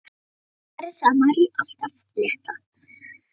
Karen sagði Maríu allt af létta.